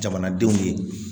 Jamanadenw ye